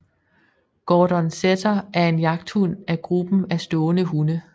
Gordon setter er en jagthund af gruppen af stående hunde